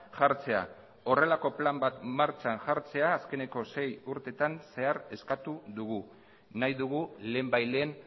jartzea horrelako plan bat martxan jartzea azkeneko sei urtetan zehar eskatu dugu nahi dugu lehenbailehen